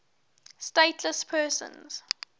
stateless persons